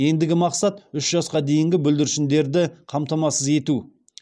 ендігі мақсат үш жасқа дейінгі бүлдіршіндері қамтамасыз ету